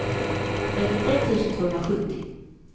trettiotre tusen tvåhundrasjuttio